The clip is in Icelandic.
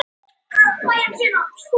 Engir frekari stormar og styrjaldir!